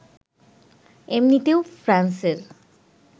এমনিতেও ফ্রান্সের